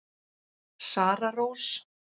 Sara Rós.